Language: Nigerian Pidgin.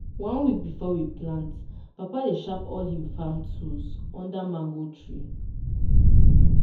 one week before we plant papa dey sharp all him farm tools under mango tree.